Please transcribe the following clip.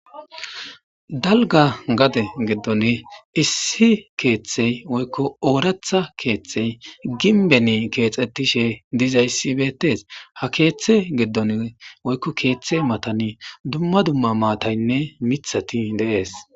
Dalga gade geddon issi keeththey woykko ooratha keeththey ginbeni keexettishe diza ssibeetes ha keeththe geddon woykko keeththe matani dumma dumma maataynne mithati deees.